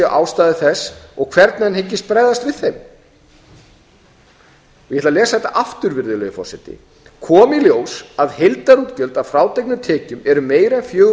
ástæður þess og hvernig hann hyggist bregðast við þeim ég ætla að lesa þetta aftur virðulegi forseti komi í ljós að heildarútgjöld að frádregnum tekjum eru meira en fjögur